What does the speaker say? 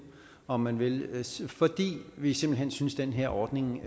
om man vil fordi vi simpelt hen synes den her ordning